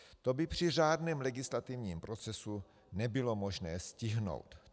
To by při řádném legislativním procesu nebylo možné stihnout.